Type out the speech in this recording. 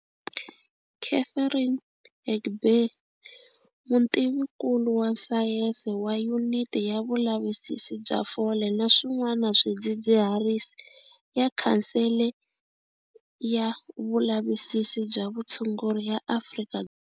Catherine Egbe, mutivinkulu wa sayense wa Yuniti ya Vulavisisi bya Fole na Swin'wana Swidzidziharisi ya Khansele ya Vulavisisi bya Vutshunguri ya Afrika.